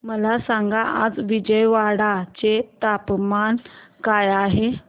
मला सांगा आज विजयवाडा चे तापमान काय आहे